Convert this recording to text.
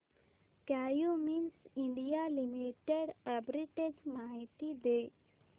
Cummins India Limited arbitrage माहिती दे